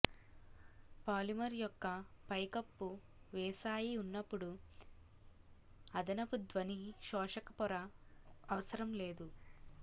polymer యొక్క పైకప్పు వేసాయి ఉన్నప్పుడు అదనపు ధ్వని శోషక పొర అవసరం లేదు